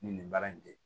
Ni nin baara in tɛ